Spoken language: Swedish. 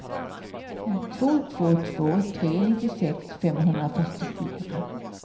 två två två tre nittiosex femhundrafyrtiofyra